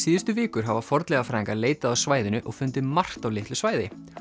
síðustu vikur hafa fornleifafræðingar leitað á svæðinu og fundið margt á litlu svæði